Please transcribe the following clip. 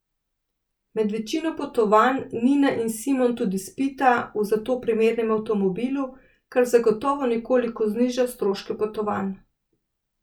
Med večino potovanj Nina in Simon tudi spita v za to primernem avtomobilu, kar zagotovo nekoliko zniža stroške potovanj.